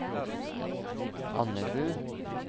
Andebu